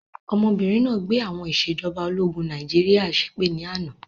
Ọmọbìnrin náà gbé àwọn ìsèjọba ológun Nàìjíríà ṣépè ni àná